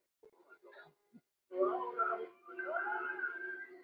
En það er gaman.